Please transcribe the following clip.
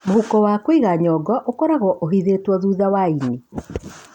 Mũhuko wa kũiga nyongo ũkoragũo ũhithĩtwo thutha wa ĩni.